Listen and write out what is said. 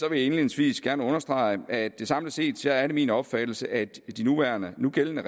indledningsvis gerne understrege at det samlet set er min opfattelse at de nuværende nugældende